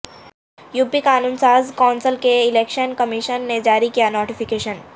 UP قانون ساز council کے لئے الیکشن کمیشن نے جاری کیا نوٹیفکیشن